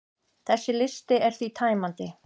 Þessi listi er því tæmandi.